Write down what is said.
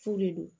F'u de don